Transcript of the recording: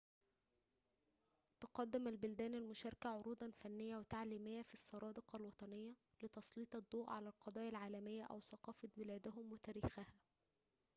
تقدم البلدان المشاركة عروضاً فنية وتعليمية في السرادق الوطنية لتسليط الضوء على القضايا العالمية أو ثقافة بلادهم وتاريخها